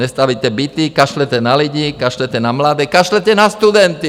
Nestavíte byty, kašlete na lidi, kašlete na mladé, kašlete na studenty.